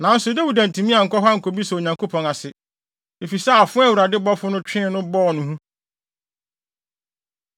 Nanso Dawid antumi ankɔ hɔ ankobisa Onyankopɔn ase, efisɛ afoa a Awurade bɔfo no twee no bɔɔ no hu.